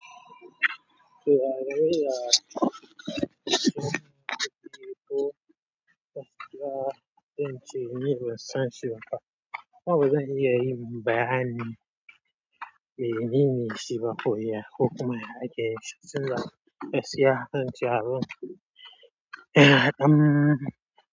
Bayani menene cewa koriya ko kuma ya ya ake yi shi sabila gaskiya zance a ban kudi.